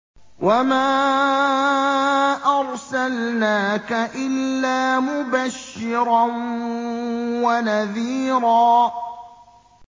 وَمَا أَرْسَلْنَاكَ إِلَّا مُبَشِّرًا وَنَذِيرًا